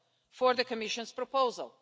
for the Commission's proposal.